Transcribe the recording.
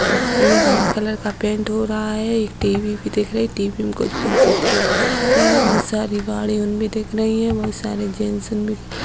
White colour का paint हो रहा है | एक टी.वी. भी दिख रही है | टीवी में कुछ फोटो दिख रहा है | बहुत सारी गाड़ी उनमे दिख रही है | बहुत सारे जेन्स उनमे --